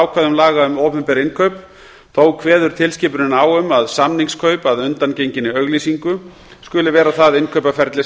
ákvæðum laga um opinber innkaup þó kveður tilskipunin á um að samningskaup að undangenginni auglýsingu skuli vera það innkaupaferli